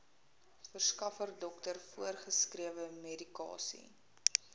verskaffer dokter voorgeskrewemedikasie